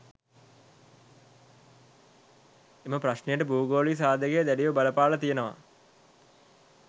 එම ප්‍රශ්නයට භූගෝලීය සාධකය දැඩිව බලපාල තියනවා